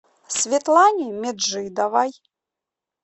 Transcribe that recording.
светлане меджидовой